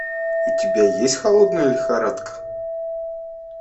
у тебя есть холодная лихорадка